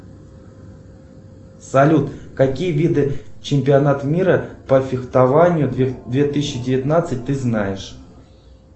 салют какие виды чемпионат мира по фехтованию две тысячи девятнадцать ты знаешь